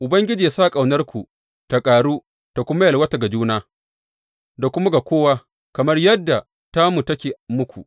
Ubangiji yă sa ƙaunarku ta ƙaru ta kuma yalwata ga juna da kuma ga kowa, kamar yadda tamu take muku.